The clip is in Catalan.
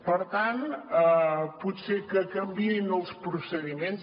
per tant potser que canviïn els procediments